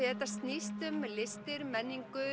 að þetta snýst um listir menningu